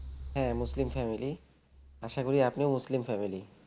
হ্যাঁ মুসলিম family আশা করি আপনিও মুসলিম family